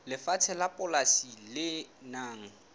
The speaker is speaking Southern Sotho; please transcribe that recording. lefatshe la polasi le nang